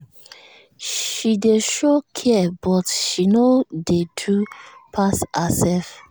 she dey show care but she no dey do pass herself